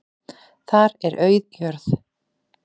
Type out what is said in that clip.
Þar er auð jörð.